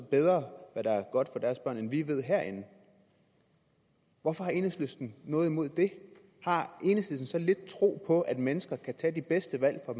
bedre hvad der er godt for deres børn end vi ved herinde hvorfor har enhedslisten noget imod det har enhedslisten så lidt tro på at mennesker kan tage de bedste valg for